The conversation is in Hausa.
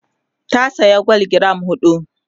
ta saya gwal giram huɗu